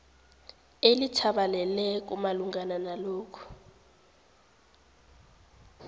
elithabaleleko malungana nalokhu